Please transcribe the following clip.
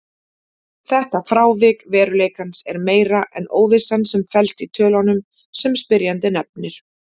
Þetta frávik veruleikans er meira en óvissan sem felst í tölunum sem spyrjandi nefnir.